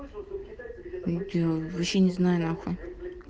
видео вообще не знаю нахуй